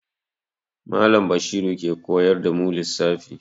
Mallam Bashiru ke koyar da mu lissafi.